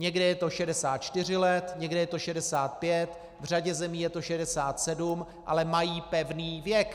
Někde je to 64 let, někde je to 65, v řadě zemí je to 67, ale mají pevný věk.